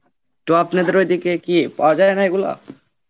তো আপনাদের ওই দিকে কি পাওয়া যায় না এগুলো?